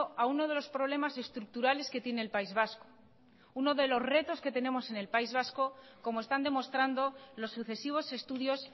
a uno de los problemas estructurales que tiene el país vasco uno de los retos que tenemos en el país vasco como están demostrando los sucesivos estudios